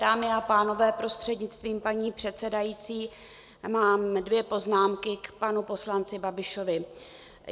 Dámy a pánové, prostřednictvím paní předsedající mám dvě poznámky k panu poslanci Babišovi.